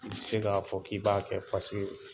I bi se k'a fɔ k'i b'a kɛ paseke